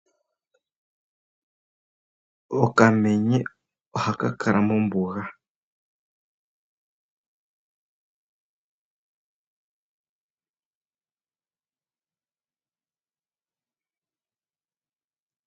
Okamenye ohaka kala mombuga.